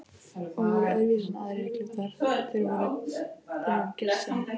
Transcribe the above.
Og voru öðruvísi en aðrir klútar, þeir voru gersemi.